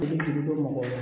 I bɛ juru don mɔgɔw la